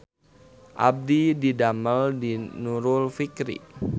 Abdi didamel di Nurul Fikri